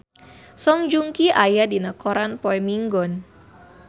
Song Joong Ki aya dina koran poe Minggon